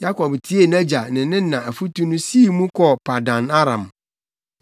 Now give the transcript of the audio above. Yakob tiee nʼagya ne ne na afotu no sii mu kɔɔ Paddan-Aram.